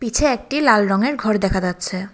পিছে একটি লাল রঙের ঘড় দেখা যাচ্ছে।